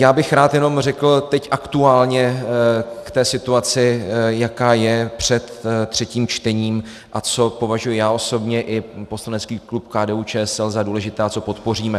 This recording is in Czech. Já bych rád jenom řekl teď aktuálně k té situaci, jaká je před třetím čtením a co považuji já osobně i poslanecký klub KDU-ČSL za důležité a co podpoříme.